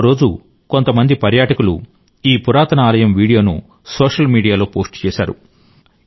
ఒక రోజు కొంతమంది పర్యాటకులు ఈ పురాతన ఆలయం వీడియోను సోషల్ మీడియాలో పోస్ట్ చేశారు